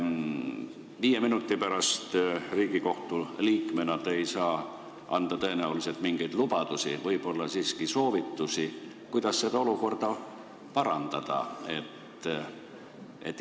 Viie minuti pärast Riigikohtu liikmena te ei saa anda tõenäoliselt mingeid lubadusi, aga võib-olla on soovitusi, kuidas seda olukorda parandada?